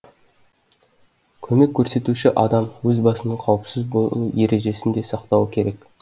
көмек көрсетуші адам өз басының қауіпсіз болу ережесін де сақтауы керек